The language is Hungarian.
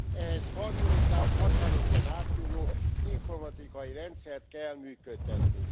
Ehhez harmonizált, határokon átnyúló informatikai rendszert kell működtetni.